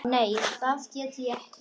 Nei, það get ég ekki.